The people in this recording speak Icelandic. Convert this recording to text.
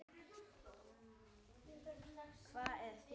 Hvað er þjóð?